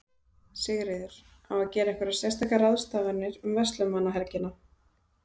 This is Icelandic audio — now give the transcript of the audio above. Sigríður: Á að gera einhverjar sérstakar ráðstafanir um verslunarmannahelgina?